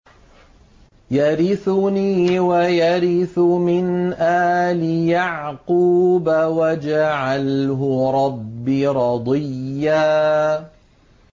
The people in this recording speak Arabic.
يَرِثُنِي وَيَرِثُ مِنْ آلِ يَعْقُوبَ ۖ وَاجْعَلْهُ رَبِّ رَضِيًّا